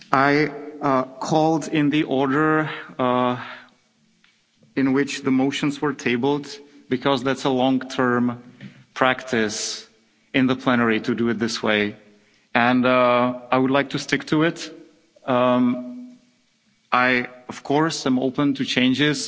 I called in the order in which the motions were tabled because it's a long-term practice in the plenary to do it this way, and I would like to stick to it. I am, of course, open to changes.